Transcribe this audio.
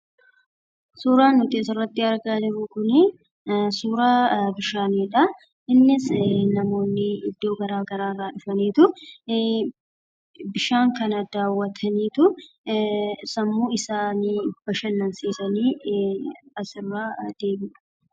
Suuraan asiin gaditti argamu kun bishaanii dha. Innis namoonni bakka garaa garii irraa dhufanii dawwaachuun sammuu issanii kan itti bashanansiisanii dha.